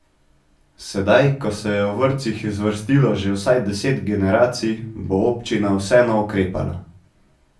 Sedaj, ko se je v vrtcih zvrstilo že vsaj deset generacij, bo občina vseeno ukrepala.